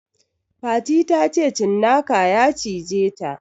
Fati ta ce cinnaka ya cije ta